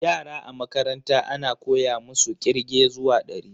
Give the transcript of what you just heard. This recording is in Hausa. Yara a makaranta ana koya musu ƙirge zuwa dari